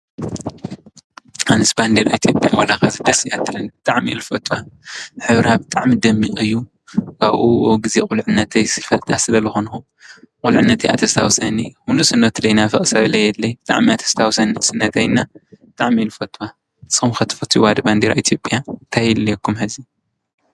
ኣነስ ባንዴራ ኢትዮጰያ ዋላ ከዚ ደስ እያ ትብለኒ ብጣዕሚ እየ ዝፈትዋ። ሕብራ ብጣዕሚ ደሚቅ እዩ። ካብኡ ኣብ ግዜ ቁልዕነተይ ይፈትዋ ስለ ዝኮንኩ ቁልዕነተይ እያ ተስታውሰኒ ንእስነቱ ዘይናፍቅ ሰብ የለን። ብጣዕሚ እየ ተስታውሰኒ ንእስነተይ እና ብጣዕሚ እየ ዝፈትዋ ።ንስኩም ከ ትፈትዋ ዶ ባንዴራ ኢትዮጵያ ታይ የድልየኩም ሕዚ?